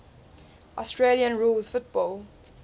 australian rules football